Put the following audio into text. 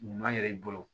Ɲuman yɛrɛ i bolo